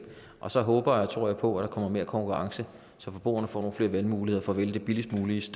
og så håber og tror jeg på at der kommer mere konkurrence så forbrugerne får nogle flere valgmuligheder for at vælge det billigst mulige